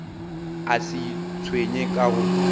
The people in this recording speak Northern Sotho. a se itshwenye ka go